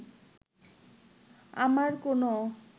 আমার কোনো